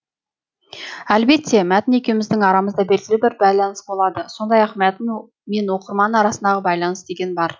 әлбетте мәтін екеуміздің арамызда белгілі бір байланыс болады сондай ақ мәтін мен оқырман арасындағы байланыс деген бар